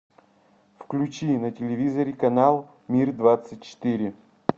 включи на телевизоре канал мир двадцать четыре